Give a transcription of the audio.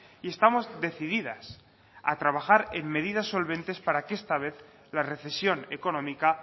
y estamos decididas a trabajar en medidas solventes para que esta vez la recesión económica